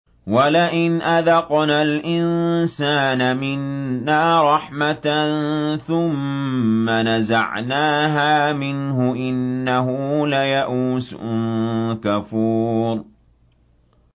وَلَئِنْ أَذَقْنَا الْإِنسَانَ مِنَّا رَحْمَةً ثُمَّ نَزَعْنَاهَا مِنْهُ إِنَّهُ لَيَئُوسٌ كَفُورٌ